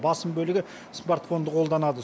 басым бөлігі смартфонды қолданады